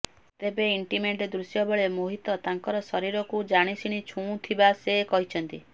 ତେବେ ଇଣ୍ଟିମେଟ୍ ଦୃଶ୍ୟ ବେଳେ ମୋହିତ ତାଙ୍କର ଶରୀରକୁ ଜାଣିଶୁଣି ଛୁଉଁଥିବା ସେ କହିଛନ୍ତି